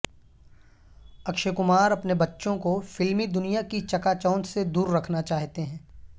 اکشے کمار اپنے بچوں کو فلمی دنیا کی چکا چوند سے دوررکھنا چاہتے ہیں